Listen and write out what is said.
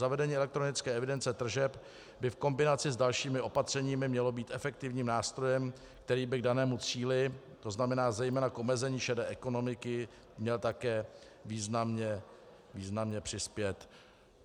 Zavedení elektronické evidence tržeb by v kombinaci s dalšími opatřeními mělo být efektivním nástrojem, který by k danému cíli, to znamená zejména k omezení šedé ekonomiky, měl také významně přispět.